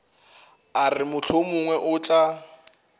a re mohlomongwe o tla